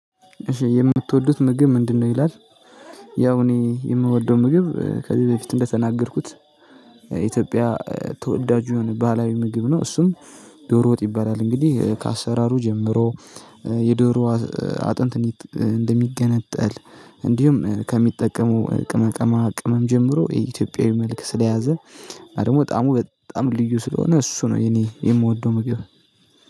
የምትወዱት ምግብ ምንድነው? ይላል ያው እኔ የምወደው ምግብ ከዚህ በፊት እንደተናገርኩት። ኢትዮጵያ ተወዳጁ የሆነ ባህላዊ ምግብ ነው እሱም ዶሮ ወጥ ይባላል። እንግዲህ ከአሰራሩ ጀምሮ የዶሮ አጥንት እንደሚገነጠል እንዲሁም ከሚጠቀመው ቅመቀማ ቅመም ጀምሮ የኢትዮጵያዊ መልክ ስለያዘ እና ደግሞ ጣዕሙ በጣም ልዩ ስለሆነ እሱ ነው የኔ የምወደው። ምግብ